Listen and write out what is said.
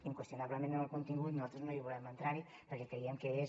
inqüestionablement en el contingut nosaltres no hi volem entrar perquè creiem que és